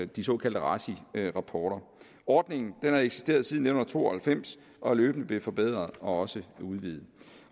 de såkaldte raci rapporter ordningen har eksisteret siden nitten to og halvfems og er løbende blevet forbedret og også udvidet